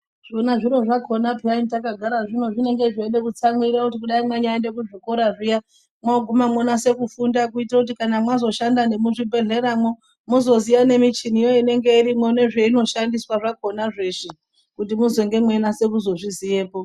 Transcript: Zvona zviro zvakona piyani takagara zvinenge zveida kutsamwirira kuti dai manyaenda kuzvikora zviya moguma monyaso kufunda kuitira kuti mozoshanda muzvibhedhleramo mozoziya kuti mushini inenge irimo nezvainoshandiswa zvakona Zveshe kuti muzonga meinyasa kuzvizivapo.